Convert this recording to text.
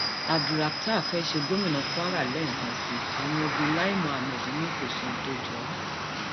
abdulrakhtar fee ṣe gómìnà kwara um lẹẹkan sí i àwọn igun lai muhammed ni kò sóhun tó um jọ ọ